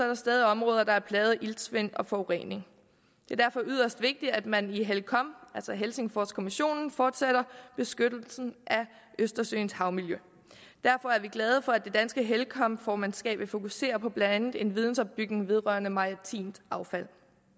der stadig områder der er plaget af iltsvind og forurening det er derfor yderst vigtigt at man i helcom altså helsingforskommissionen fortsætter beskyttelsen af østersøens havmiljø derfor er vi glade for at det danske helcom formandskab vil fokusere på blandt andet en vidensopbygning vedrørende maritimt affald